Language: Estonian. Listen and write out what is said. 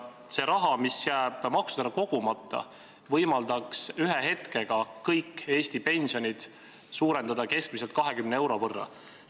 See raha, mis jääb maksudena kogumata, võimaldaks ühe hetkega kõiki Eesti pensione suurendada keskmiselt 20 euro võrra.